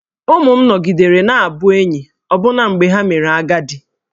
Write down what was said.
Ụmụ m nọgidere na-abụ enyi ọbụna mgbe ha mere agadi